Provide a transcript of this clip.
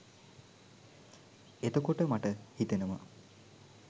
එතකොට මට හිතෙනවා